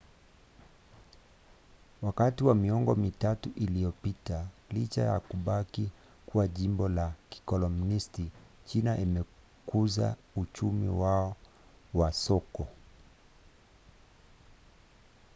wakati wa miongo mitatu iliyopita licha ya kubaki kuwa jimbo la kikomunisti china imekuza uchumi wa soko